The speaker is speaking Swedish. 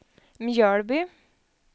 Mjölby